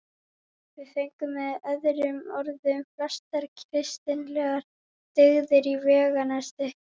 Við fengum með öðrum orðum flestar kristilegar dyggðir í veganesti.